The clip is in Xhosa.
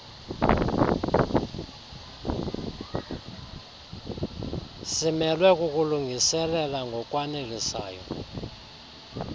simelwe kukulungiselela ngokwanelisayo